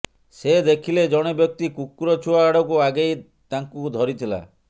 ସେ ଦେଖିଲେ ଜଣେ ବ୍ୟକ୍ତି କୁକୁର ଛୁଆ ଆଡ଼କୁ ଆଗେଇ ତାଙ୍କୁ ଧରିଥିଲା